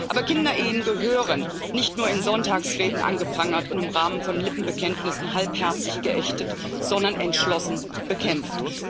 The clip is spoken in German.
Aber Kinderehen gehören nicht nur in Sonntagsreden angeprangert und im Rahmen von Lippenbekenntnissen halbherzig geächtet, sondern entschlossen bekämpft.